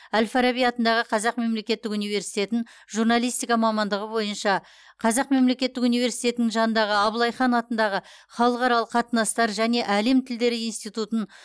әл фараби атындағы қазақ мемлекеттік университетін журналистика мамандығы бойынша қазақ мемлекеттік университетінің жанындағы абылайхан атындағы халықаралық қатынастар және әлем тілдері институтын